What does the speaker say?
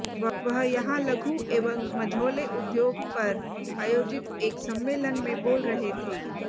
वह यहां लघु एवं मझाोले उद्योग पर आयोजित एक सम्मेलन में बोल रहे थे